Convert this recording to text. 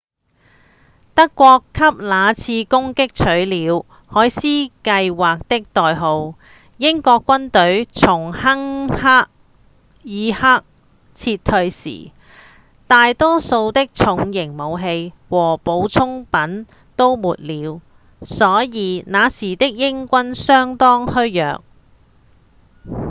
德國給那次攻擊取了「海獅計畫」的代號英國軍隊從敦克爾克撤退時大多數的重型武器和補給品都沒了所以那時的英軍相當虛弱